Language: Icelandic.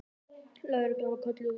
Lögreglan var kölluð út.